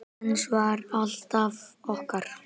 Hans var alltaf okkar.